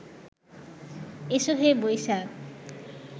এসো হে বৈশাখ